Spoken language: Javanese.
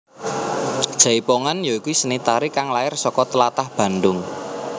Jaipongan ya iku seni tari kang lair saka tlatah Bandung